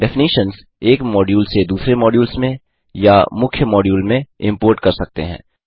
definitions एक module से दूसरे मॉड्यूल्स में या मुख्य मॉड्यूल में इम्पोर्ट कर सकते हैं